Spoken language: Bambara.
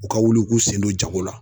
U ka wuli k'u sen don jago la.